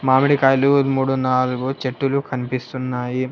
మామిడికాయలు మూడు నాలుగు చెట్టులు కనిపిస్తున్నాయి.